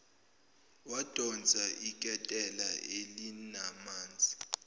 wadonsa iketela elinamanzi